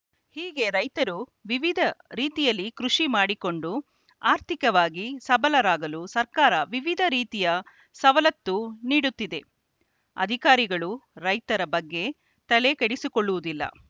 ಹೀಗೆ ರೈತರು ವಿವಿಧ ರೀತಿಯಲ್ಲಿ ಕೃಷಿ ಮಾಡಿಕೊಂಡು ಆರ್ಥಿಕವಾಗಿ ಸಬಲರಾಗಲು ಸರಕಾರ ವಿವಿಧ ರೀತಿಯ ಸವಲತ್ತು ನೀಡುತ್ತಿದೆ ಅಧಿಕಾರಿಗಳು ರೈತರ ಬಗ್ಗೆ ತಲೆಕೆಡಿಸಿಕೊಳ್ಳುವುದಿಲ್ಲ